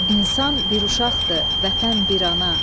İnsan bir uşaqdır, vətən bir ana.